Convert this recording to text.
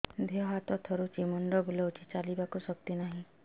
ଦେହ ହାତ ଥରୁଛି ମୁଣ୍ଡ ବୁଲଉଛି ଚାଲିବାକୁ ଶକ୍ତି ନାହିଁ